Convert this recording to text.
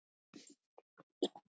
Hvað vil ég?